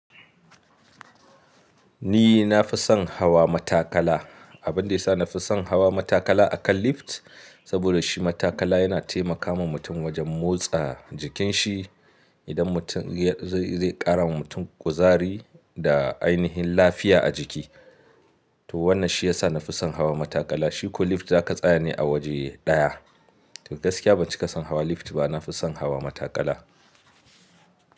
Ni na fi son hawa matakala. Abin da ya sa na fi son hawa matakala akan lift, saboda shi matakala yana taimakawa mutum wajen motsa jikin shi. Idan mutum zai ƙara wa mutum kuzari da ainihin lafiya a jiki. To wannan shi ya sa na fi son hawa matakala. Shiku lift ka tsaya ne a waje ɗaya. To gaskiya ban cika son hawa lift ba, na fi son hawa matakala.